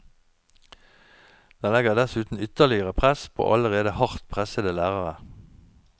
Den legger dessuten ytterligere press på allerede hardt pressede lærere.